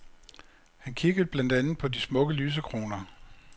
Han kiggede blandt andet på de smukke lysekroner.